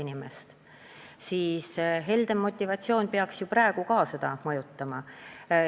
Ometi peaks helde motivatsioon praegugi seda mõjutama.